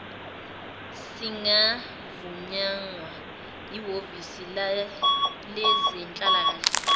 singavunywanga yihhovisi lezenhlalakahle